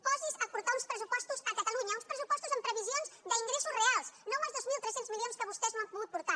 posi’s a portar uns pressupostos a catalunya uns pressupostos amb previsions d’ingressos reals no amb els dos mil tres cents milions que vostès no han pogut portar